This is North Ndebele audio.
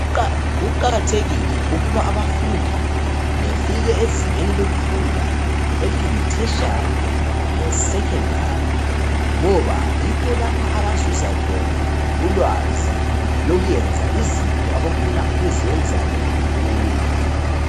Kuqakathekile ukuba abafundi befike ezingeni lokufunda eliyi ethetshari le secondary ngoba yikho lapha abazuza khona ulwazi lokuyenza izinto abafuna ukuzenza bengakhula.